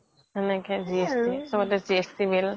সেনেকে GST চবটে GST bill